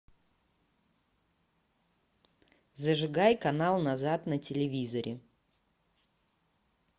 зажигай канал назад на телевизоре